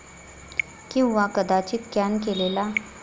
किंवा कदाचित कॅन केलेला?